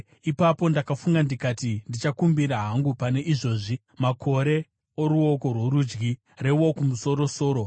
Ipapo ndakafunga ndikati, “Ndichakumbira hangu pane izvozvi: makore oruoko rworudyi reWokumusoro-soro.”